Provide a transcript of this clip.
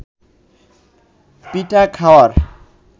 পিঠা খাওয়ার